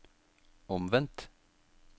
omvendt